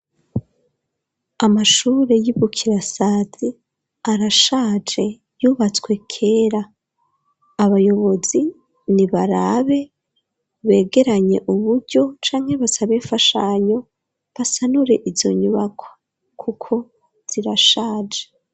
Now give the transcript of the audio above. Amashure y'i Bukirasazi arashaje yubatswe kera, abayobozi nibarabe begeranye uburyo canke basabe imfashanyo basanure izo nyubakwa kuko zirashaje.